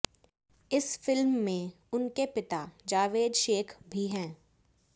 इस फिल्म में उनके पिता जावेद शेख भी हैं